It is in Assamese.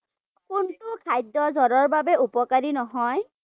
কোনটো খাদ্য জ্বৰৰ বাবে উপকাৰী নহয়?